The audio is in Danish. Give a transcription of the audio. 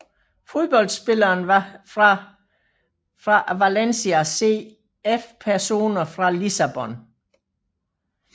Fodboldspillere fra Valencia CF Personer fra Lissabon